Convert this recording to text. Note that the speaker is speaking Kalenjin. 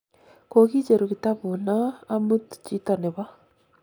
kokicheru kitapuu noo amut chito nebo